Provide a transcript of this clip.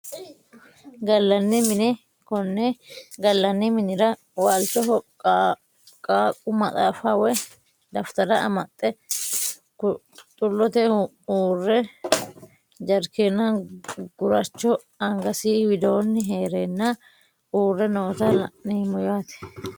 Galani mine kone galani minira waalchoho qaaqu maxaafa woyi daftara amaxe xulote huure jarkeeni guracho angasi widooni heerena uure noota la`neemo yaate.